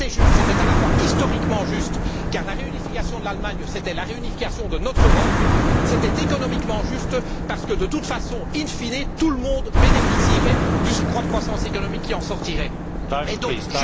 C'était à la fois historiquement juste, car la réunification de l'Allemagne, c'était la réunification de notre Europe, et économiquement juste, parce que de toute façon, in fine, tout le monde bénéficierait du surcroît de croissance économique qui en découlerait.